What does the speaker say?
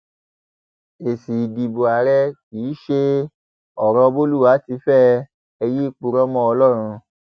èsì ìdìbò àárẹ kì í ṣe ọrọ bolúwa ti fẹ ẹ yéé purọ mọ ọlọrun